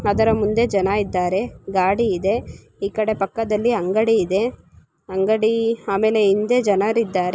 ಅದರ ಮುಂದೆ ಜನ ಇದ್ದಾರೆ ಗಾಡಿ ಇದೆ ಇಕಡೆ ಪಕ್ಕದಲ್ಲಿ ಅಂಗಡಿ ಇದೆ ಅಂಗಡಿ ಆಮೆಲೆ ಹಿಂದೆ ಜನರಿದ್ದಾರೆ .